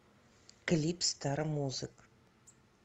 клип старомузык